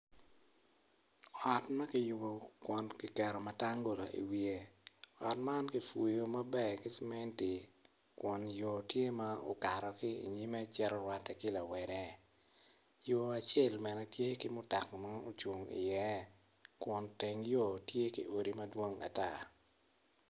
Ot ma kiyubokun kiketo matangula i wiye, otman kicweyo maber ki cementi kun yo tye ma okato ki inyime ocito rwatte ki lareme yo acel bene tye ki mutoka iye.